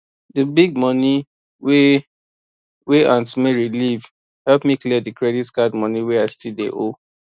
the big money wey wey aunt mary leave help me clear the credit card money wey i still dey owe